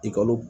Ekɔli